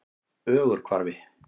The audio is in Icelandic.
Ögurhvarfi